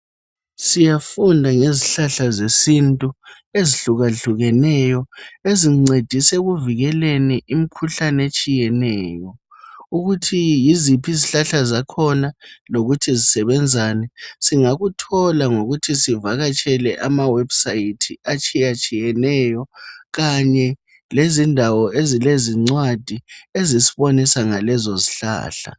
Siyafunda ngezihlahla zesintu ezihluka hlukeneyo ezincedisa ekuvikeleni imkhuhlane etshiyeneyo ukuthi yiziphi izihlahla zakhona lokhuthi zisebenzani singakuthola ngokuthi sivakatshele ama website atshiye tshiyeneyo kanye lezindawo ezile zincwadi ezisibonisa ngalezo zihlahla